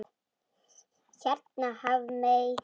Hérna Hafmey.